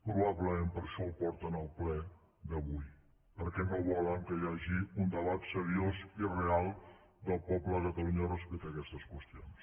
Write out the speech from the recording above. probablement per això ho porten al ple d’avui perquè no volen que hi hagi un debat seriós i real del poble de catalunya respecte a aquestes qüestions